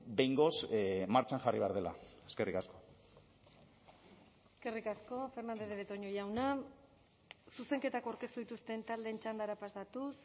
behingoz martxan jarri behar dela eskerrik asko eskerrik asko fernandez de betoño jauna zuzenketak aurkeztu dituzten taldeen txandara pasatuz